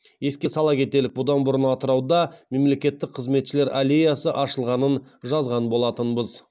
еске сала кетелік бұдан бұрын атырауда мемлекеттік қызметшілер аллеясы ашылғанын жазған болатынбыз